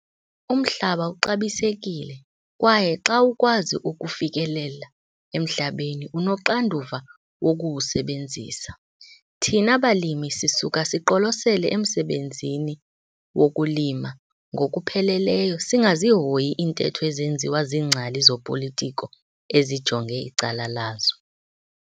Umhlaba uxabisekile, kwaye xa ukwazi ukufikelela emhlabeni, unoxanduva wokuwusebenzisa. Thina balimi sisuka siqolosele emsebenzini wokulima ngokupheleleyo singazihoyi iintetho ezenziwa ziingcali zopolitiko ezijonge icala lazo.